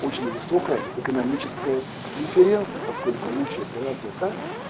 очень высокая экономическая преференция поскольку лучшая операция та